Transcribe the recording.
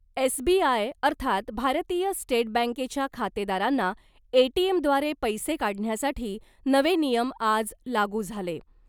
S B I , अर्थात भारतीय state बँकेच्या खातेदारांना , एटीएमव्दारे पैसे काढण्यासाठी नवे नियम आज लागू झाले .